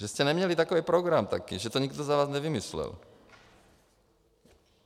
Že jste neměli takový program taky, že to nikdo za vás nevymyslel?